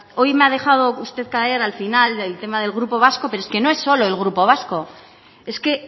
hoy usted me ha dejado caer al final del tema del grupo vasco pero es que no es solo el grupo vasco es que